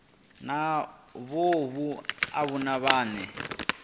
na vhohe avho vhane vha